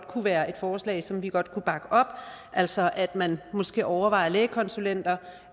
kunne være et forslag som vi godt kunne bakke op altså at man måske overvejer lægekonsulenter